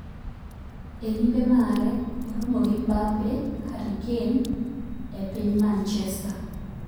E limbe mare ,oromo gi Mbappe, Harry Kane e piny manchester.